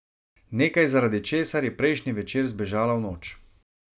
Nekaj, zaradi česar je prejšnji večer zbežala v noč.